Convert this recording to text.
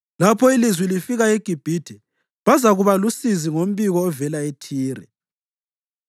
Lapho ilizwi lifika eGibhithe bazakuba lusizi ngombiko ovela eThire.